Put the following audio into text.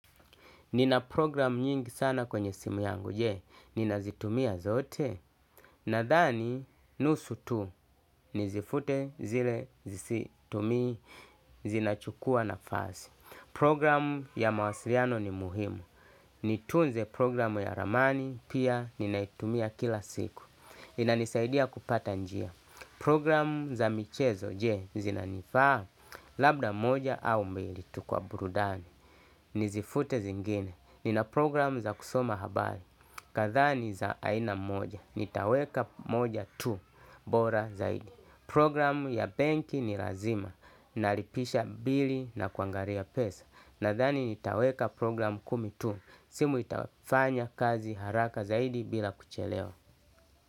Nina programu nyingi sana kwenye simu yangu, je, ninazitumia zote? Nadhani, nusu tu, nizifute zile zisizotumika, zinachukua nafasi. Program ya mawasiliano ni muhimu. Nitunze program ya ramani, pia, ninaitumia kila siku. Inanisaidia kupata njia. Programu za michezo, je, zinanifaa? Labda moja au mbili, tu kwa burudani. Nizifute zingine. Nina programu za kusoma habari. Kadhaa nj za aina moja, nitaweka moja tu bora zaidi. Programu ya benki ni lazima. Nalipisha bili na kuangalia pesa. Nadhani nitaweka programu kumi tu. Simu itafanya kazi haraka zaidi bila kuchelewa.